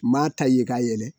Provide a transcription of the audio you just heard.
M'a taye k'a yɛlɛ.